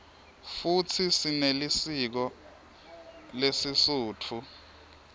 futsi sinelisiko lesisutfu